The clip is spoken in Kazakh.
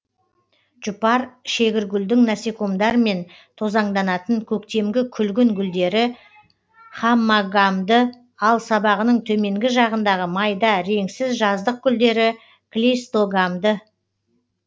жұпар шегіргүлдің насекомдармен тозаңданатын көктемгі күлгін гүлдері хаммогамды ал сабағының төменгі жағындағы майда реңсіз жаздық гүлдері клейстогамды